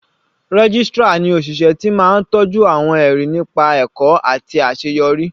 Registrar ni òṣìṣẹ́ ti máa tọjú àwọn ẹrí nípa ẹ̀kọ́ àti àṣeyọrí.